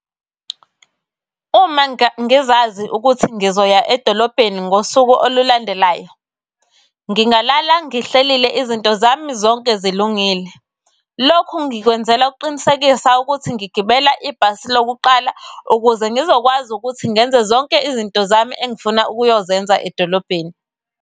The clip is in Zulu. Uma ngizazi ukuthi ngizoya edolobheni ngosuku olulandelayo, ngingalala ngihlelile izinto zami zonke zilungile. Lokhu ngikwenzela ukuqinisekisa ukuthi ngigibela ibhasi lokuqala ukuze ngizokwazi ukuthi ngenze zonke izinto zami engifuna ukuyozenza edolobheni.